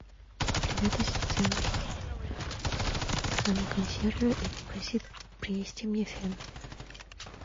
привет ассистент позвони консьержу и попроси принести мне фен